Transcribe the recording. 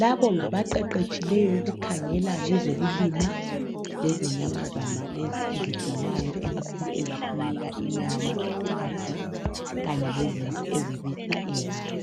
Labo ngabaqeqetshileyo ukukhangela ngezokulima lezenyamazana lezi ezigcinwayo ikakhulu ezisinika inyama, uchago kanye lezimvu ezibisa i"wool".